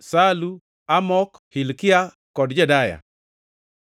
Salu, Amok, Hilkia kod Jedaya.